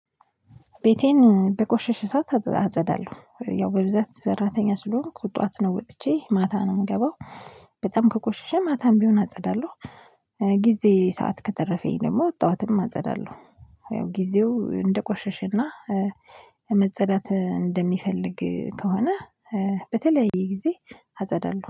ቤቴን በቆሸሽ ሰዓት አጸዳለሁ ያው በብዛት ሰራተኛ ስለሆኑኩ ጧት ነው ወጥቼ ማታ ነው የምገባው በጣም ከቆሸሸ ማታም ቢሆን አጸዳለሁ። ጊዜ ሰዓት ከተረፈኝ ደግሞ ጠዋትም አጸዳለሁ። ጊዜው እንደቆሸሸና መጸዳት እንደሚፈልግ ከሆነ በተለያየ ጊዜ አጸዳለሁ